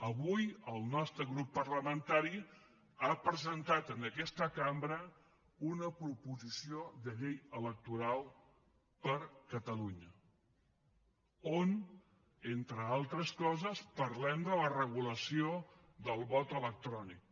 avui el nostre grup parlamentari ha presentat en aquesta cambra una proposició de llei electoral per a catalunya on entre altres coses parlem de la regulació del vot electrònic